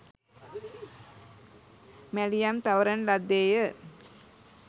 මැලියම් තවරන ලද්දේ ය